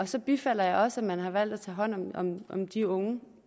så bifalder jeg også at man har valgt at tage hånd om de unge